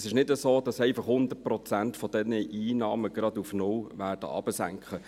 Es ist nicht so, dass 100 Prozent dieser Einnahmen sogleich auf null sinken werden.